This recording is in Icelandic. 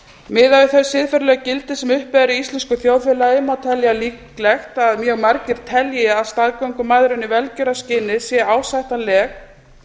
miðað við þau siðferðilegu gildi sem uppi eru í íslensku þjóðfélagi má telja líklegt að mjög margir telji að staðgöngumæðrun í velgjörðarskyni sé ásættanleg